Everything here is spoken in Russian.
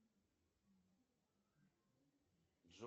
салют подожди с музыкой